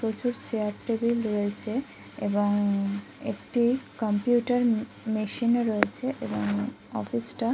প্রচুর chair table রয়েছে এবং একটি কম্পিউটার মেশিন ও রয়েছে এবং অফিস টা--